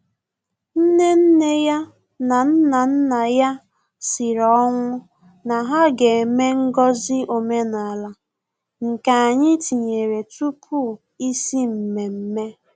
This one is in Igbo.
Nnenneya na Nnannaya sịrị ọnwụ na ha ga-eme ngọzi omenala, nke anyị tinyere tupu isi mmemme